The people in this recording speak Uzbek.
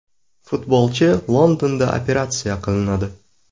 Futbolchi Londonda operatsiya qilinadi .